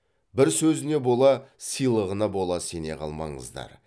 бір сөзіне бола сыйлығына бола сене қалмаңыздар